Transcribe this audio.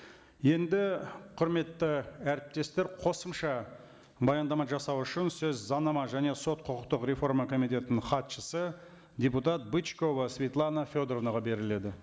енді құрметті әріптестер қосымша баяндама жасау үшін сөз заңнама және сот құқықтық реформа комитетінің хатшысы депутат бычкова светлана федоровнаға беріледі